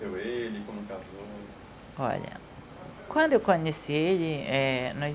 Conheceu ele, quando casou? Olha, quando eu conheci ele, é